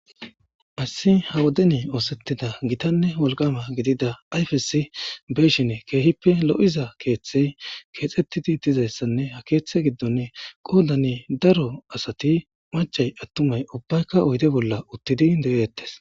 asi ha wodeni oosettida gitanne wolqama gidida ayfesi beshine keehippe lo7iza keeththey keexxettidi dizayssanne ha keeththe giddon qoodani daro asati macay attumay ubbaykka oyde bolla uttidi de7eettes